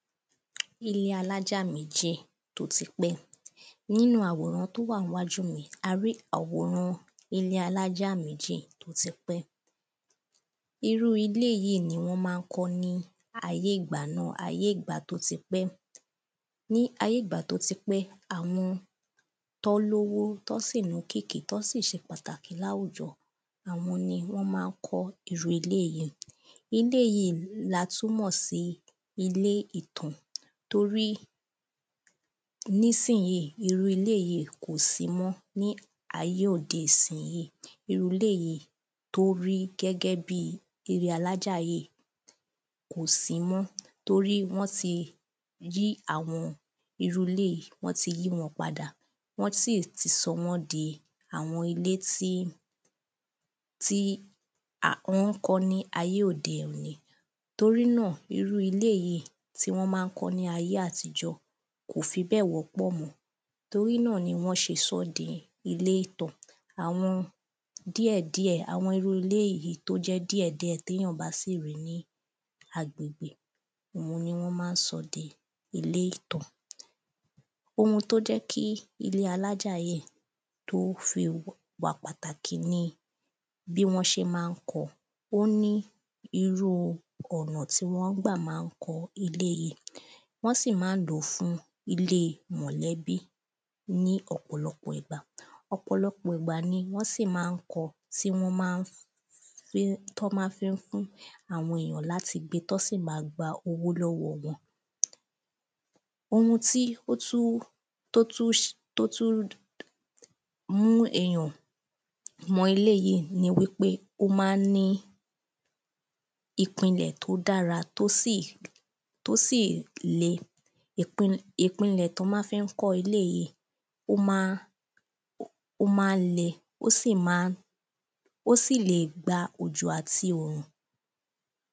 Ilé alájà méjì, tó ti pẹ́, nínu àwòrán tó wà níwájú mi, a rí àwòrán ilé alájà méjì tó ti pẹ́ irú ilé yìí ní wọ́n ma ń kọ́ ní ayé ìgbà náà, ayé ìgbà tó ti pẹ́, ní ayé ìgbà tó ti pẹ́, àwọn tí wọ́n l’ówó, tí wọ́n sì l'ókìkí, tí wọ́n sì ṣe pàtàkì láwùjọ, àwọn ni wọ́n ma ń kọ́ irú ilé yìí. Ilé yìí la túnmọ̀ sí ilé ìtàn, torí ní sìn yí, irú ilé yìí kò sí mọ́, ní ayé òde sìn yí. Irú ilé yìí tórí gẹ́gẹ́ bi ilé alájà yí, kò sí mọ́, torí wọ́n ti yí àwọn irú ilé yìí, wọ́n ti yí wọn padà, wọ́n sì ti sọ wọ́n di àwọn ilé tí wọ́n kó ní ayé òde òni, torí náà, irú ilé yìí tí wọ́n ma ń kọ́ ní ayé àtijọ́, kó fi gbẹ́ẹ̀ wọ́pọ̀ mọ́, torí náà ni wọ́n ṣe sọ di ilé ìtàn, àwọn díẹ̀díẹ̀ àwọn irú ilé yìí tí ó jẹ́ díẹ̀díẹ̀ té yàn bá sì rí ní agbègbè, òun ni wọ́n ma ń sọ di ilé ìtàn. Oun tó jẹ́ kí ilé alájà yíì, tó fi pàtàkì ni, bí wọ́n ṣe ma ń kọ, ó ní irúu ọ̀nà tí wọ́n gbà ma ń kọ́ ilé yìí, wọ́n sì má ń lòó fún ilé mọ̀lẹ́bí ní ọ̀pọ̀lọpọ̀ ìgbà, ọ̀pọ̀lọpọ̀ ìgbà ni wọ́n sì má ń kọ, tí wọ́n má tí wọ́n má fífún àwọn ènìyàn láti gbé tí wọ́n sì ma gba owó lọ́wọ wọn. Oun tí ó tún mú èyàn mọ ilé yìí ni wípé o ma ń ní ní ìpìnlẹ̀ tó dára, tó sì le, ìpinlẹ̀ tí wọ́n ma fi ń kọ́ ilé yìí, ó ma ń le, ó sì má ń, ó sì le gba òjò àti òrùn